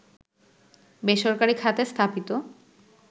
বেসরকারি খাতে স্থাপিত